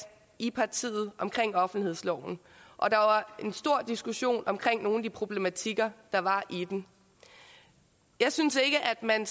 i partiet om offentlighedsloven og der var en stor diskussion om nogle af de problematikker der var i den jeg synes ikke at man